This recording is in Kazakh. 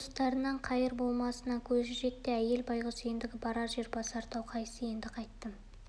туыстарынан қайыр болмасына көзі жетті де әйел байғұс ендігі барар жер басар тау қайсы енді қайттім